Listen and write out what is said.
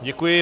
Děkuji.